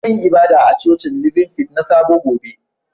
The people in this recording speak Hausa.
Zan yi ibada a cocin Living Faith na sabo gobe.